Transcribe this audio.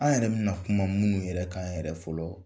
An yɛrɛ bɛna kuma minnu yɛrɛ k'an yɛrɛ fɔlɔ